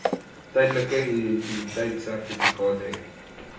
tydelike identiteitsertifikaat hê